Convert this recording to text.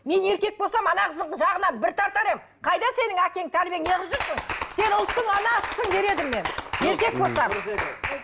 мен еркек болсам ана қыздың жағынан бір тартар едім қайда сенің әкең тәрбиең не қылып жүрсің сен ұлттың анасысың дер едім мен еркек болсам